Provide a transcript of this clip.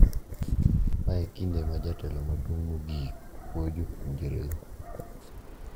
Ma e kinde ma jatelo maduong` mogik puoyo jopuonjre go.